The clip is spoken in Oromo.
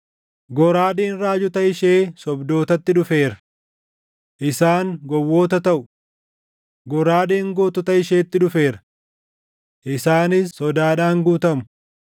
Goraadeen raajota ishee sobdootatti, dhufeera! Isaan gowwoota taʼu. Goraadeen gootota isheetti dhufeera! Isaanis sodaadhaan guutamu.